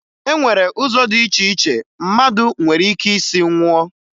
E nwere ụzọ dị iche iche mmadụ nwere ike isi nwụọ